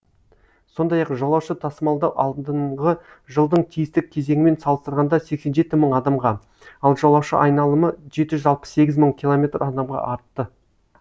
сондай ақ жолаушы тасымалдау алдыңғы жылдың тиісті кезеңімен салыстырғанда сексен жеті мың адамға ал жолаушы айналымы жеті жүз алпыс сегіз мың километр адамға артты